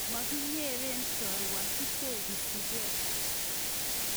Mo kinyeren chorua kotekesikisie